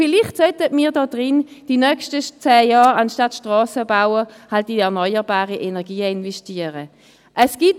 Vielleicht sollten wir in diesem Rat während der nächsten zehn Jahre in erneuerbare Energien investieren, anstatt Strassen zu bauen.